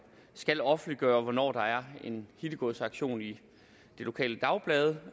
skal offentliggøre hvornår der er en hittegodsauktion i det lokale dagblad